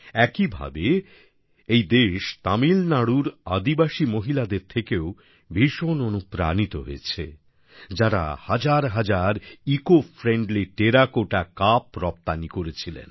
একইভাবে এই দেশ তামিলনাড়ুর আদিবাসী মহিলাদের থেকেও ভীষণ অনুপ্রাণিত হয়েছে যারা হাজার হাজার ইকোফ্রেন্ডলি টেরাকোটা কাপ রপ্তানি করেছিলেন